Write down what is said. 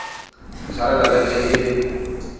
ntshwarela le ge e le